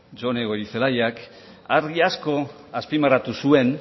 jone goirizelaiak argi asko azpimarratu zuen